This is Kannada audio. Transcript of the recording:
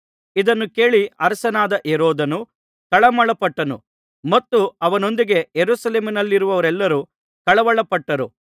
ಇದನ್ನು ಕೇಳಿ ಅರಸನಾದ ಹೆರೋದನು ತಳಮಳಪಟ್ಟನು ಮತ್ತು ಅವನೊಂದಿಗೆ ಯೆರೂಸಲೇಮಿನವರೆಲ್ಲರೂ ಕಳವಳಪಟ್ಟರು